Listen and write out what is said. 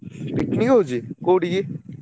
Picnic ହଉଛି କୋଉଠିକି?